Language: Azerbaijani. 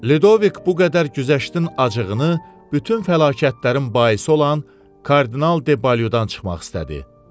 Lidovik bu qədər güzəştin acığını bütün fəlakətlərin baisi olan Kardinal de Baludan çıxmaq istədi.